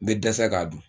N bɛ dɛsɛ k'a dun